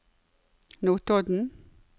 Notodden